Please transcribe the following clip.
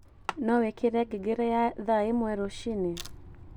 no wikire ngengere ya thaa imwe ruciini